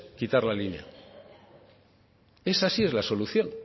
quitar la línea esa sí es la solución